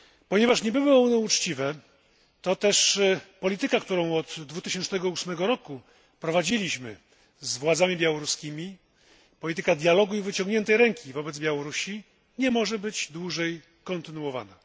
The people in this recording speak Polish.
Nie były one uczciwe, toteż polityka, którą od 2008 roku prowadziliśmy z władzami białoruskimi, polityka dialogu i wyciągniętej ręki wobec Białorusi nie może być dłużej kontynuowana.